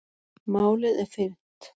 Málið er fyrnt.